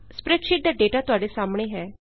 spreadsheet ਦਾ data ਤੁਹਾਡੇ ਸਾਹਮਣੇ ਹੈ